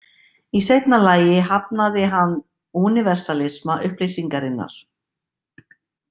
Í seinna lagi hafnaði hann „úniversalisma“ upplýsingarinnar.